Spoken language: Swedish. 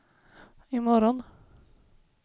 imorgon